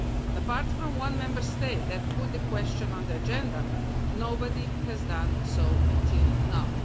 Apart from the one Member State that put the question on the agenda, nobody has done so until now.